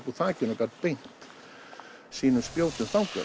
úr þakinu og gat beint sínum spjótum þangað